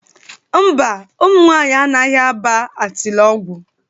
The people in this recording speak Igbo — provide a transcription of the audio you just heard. Ḿbà, ụmụ nwaanyị anaghị aba Atịlọgwụ.